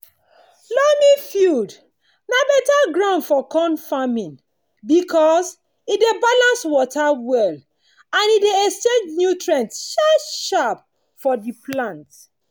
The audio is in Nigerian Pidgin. loamy field na better ground for corn farming because e dey balance water well and dey exchange nutrient sharp-sharp for the plant.